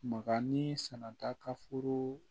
Makanni sanata ka foro